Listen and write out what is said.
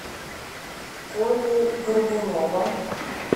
коли горбунова